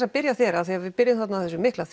að byrja á þér af því við byrjuðum þarna á þessu mikla